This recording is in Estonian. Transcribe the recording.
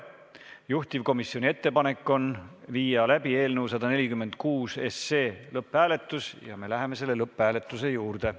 Juhtivkomisjoni ettepanek on viia läbi eelnõu 146 lõpphääletus ja me läheme selle lõpphääletuse juurde.